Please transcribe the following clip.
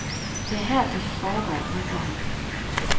Det er her, det foregår, jubler han.